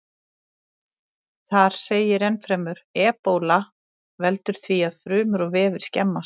Þar segir ennfremur: Ebóla veldur því að frumur og vefir skemmast.